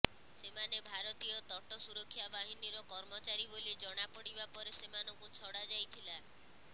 ସେମାନେ ଭାରତୀୟ ତଟ ସୁରକ୍ଷା ବାହିନୀର କର୍ମଚାରୀ ବୋଲି ଜଣା ପଡିବା ପରେ ସେମାନଙ୍କୁ ଛଡା ଯାଇଥିଲା